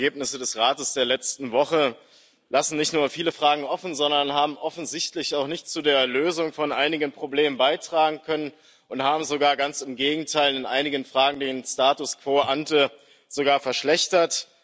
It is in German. Die Ergebnisse des Rates der letzten Woche lassen nicht nur viele Fragen offen, sondern haben offensichtlich auch nichts zu der Lösung von einigen Problemen beitragen können und haben sogar ganz im Gegenteil in einigen Fragen den Status quo ante sogar verschlechtert.